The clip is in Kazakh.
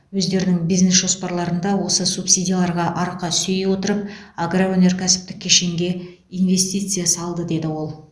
өздерінің бизнес жоспарларында осы субсидияларға арқа сүйей отырып агроөнеркәсіптік кешенге инвестиция салды деді ол